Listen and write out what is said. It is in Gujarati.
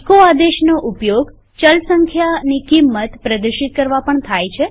એચો આદેશનો ઉપયોગ ચલ સંખ્યાની કિંમત પ્રદર્શિત કરવા પણ થાય છે